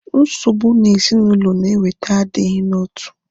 Nsogbụ ezinaụlọ na-eweta agighi n'otu